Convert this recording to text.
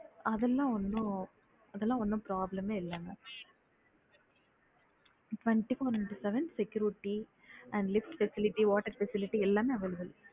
அதெல்லாம் ஒன்னும் அதெல்லாம் ஒன்னும் problem ஏ இல்ல mam twenty-four into seven security and lift facility water facility எல்லாமே available